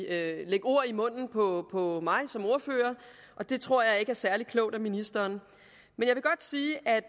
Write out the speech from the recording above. at lægge ord i munden på på mig som ordfører og det tror jeg ikke er særlig klogt af ministeren men